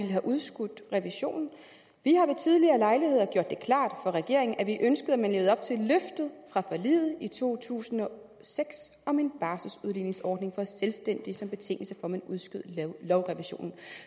have udskudt revisionen vi har ved tidligere lejligheder gjort det klart for regeringen at vi ønskede at man levede op til løftet fra forliget i to tusind og seks om en barseludligningsordning for selvstændige som betingelse for at man udskød lovrevisionen